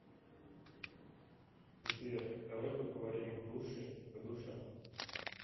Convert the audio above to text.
сбер давай поговорим в душе по душам